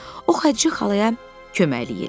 O Xədicə xalaya köməklik elədi.